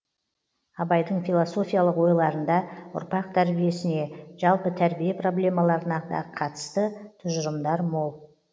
абайдың философиялық ойларында ұрпақ тәрбиесіне жалпы тәрбие проблемаларына да қатысты тұжырымдар мол